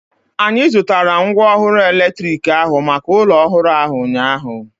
Anyị zụtara mgwooru elektriki ahu maka ụlọ ọhụrụ ahu ụnyaahụ